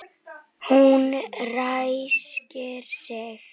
Hún ræskir sig.